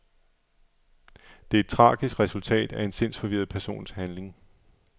Det er et tragisk resultat af en sindsforvirret persons handling.